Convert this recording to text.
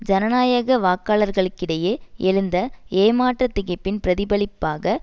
ஜனநாயக வாக்காளர்களிடையே எழுந்த ஏமாற்றத் திகைப்பின் பிரதிபலிப்பாக